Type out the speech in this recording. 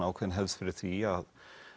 ákveðin hefð fyrir því að